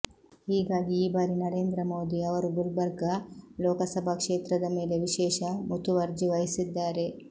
ಹೀಗಾಗಿ ಈ ಬಾರಿ ನರೇಂದ್ರ ಮೋದಿ ಅವರು ಗುಲ್ಬರ್ಗ ಲೋಕಸಭಾ ಕ್ಷೇತ್ರದ ಮೇಲೆ ವಿಶೇಷ ಮುತುವರ್ಜಿ ವಹಿಸಿದ್ದಾರೆ